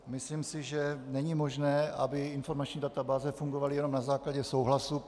Myslím si, že není možné, aby informační databáze fungovaly jenom na základě souhlasu.